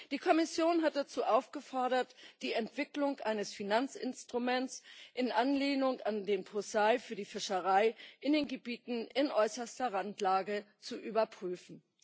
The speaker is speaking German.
Die Kommission hat dazu aufgefordert, die Entwicklung eines Finanzinstruments in Anlehnung an den POSEI für die Fischerei in den Gebieten in äußerster Randlage zu überprüfen.